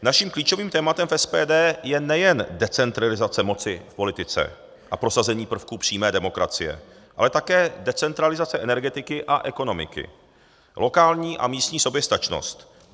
Naším klíčovým tématem v SPD je nejen decentralizace moci v politice a prosazení prvků přímé demokracie, ale také decentralizace energetiky a ekonomiky, lokální a místní soběstačnost.